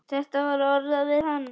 Þetta var orðað við hann.